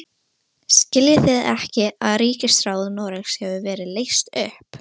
Hvað er hún þá að abbast upp á mig?